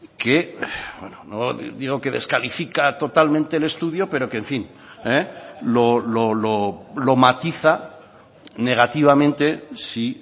que bueno no digo que descalifica totalmente el estudio pero que lo matiza negativamente si